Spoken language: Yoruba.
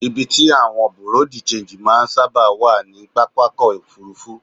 Ibi tí àwọn Bùréú-di-ṣenji máa ń sáàbà wá ní pápákọ́ Òfurufú.